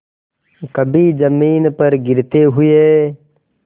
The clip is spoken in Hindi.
कभी जमीन पर गिरते हुए